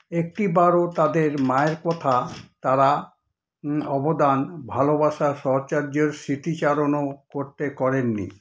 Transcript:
একটিবারও তাদের মায়ের কথা তারা হুমম অবদান ভালোবাসার সহচর্য্যের স্মৃতিচারণও করতে করেন নি।